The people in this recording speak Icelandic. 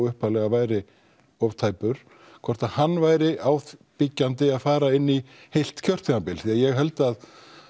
upphaflega að væri of tæpur hvort hann væri ábyggjandi að fara inn í heilt kjörtímabil því ég held að